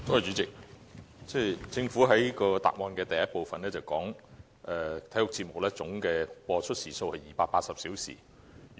主席，政府在主體答覆的第一部分表示，體育節目總播出時數為280小時。